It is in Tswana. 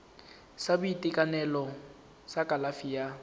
sa boitekanelo sa kalafi ya